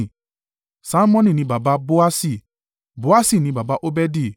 Salmoni ni baba Boasi, Boasi ni baba Obedi,